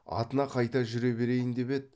атына қайта жүре берейін деп еді